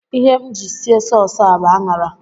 Ihe m ji sie sauce a bụ ạṅara